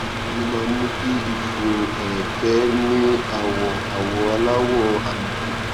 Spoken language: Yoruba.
kí ló máa ń mú kí ìfun ẹrẹkẹ ní àwọ àwọ aláwọ àlùkò